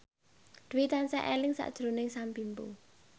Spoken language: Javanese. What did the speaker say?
Dwi tansah eling sakjroning Sam Bimbo